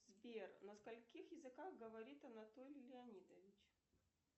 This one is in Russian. сбер на скольких языках говорит анатолий леонидович